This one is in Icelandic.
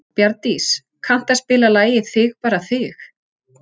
Bjarndís, kanntu að spila lagið „Þig bara þig“?